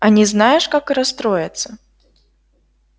они знаешь как расстроятся